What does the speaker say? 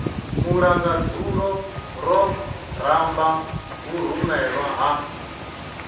mulangadzulo ro ramba vhurumelwa ha